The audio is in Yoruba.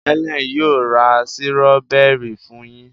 Helen yíò ra Sírọ́bẹ́rì fún yín.